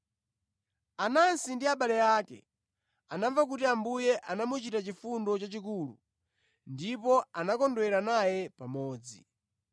Anansi ndi abale ake anamva kuti Ambuye anamuchitira chifundo chachikulu ndipo anakondwera naye pamodzi.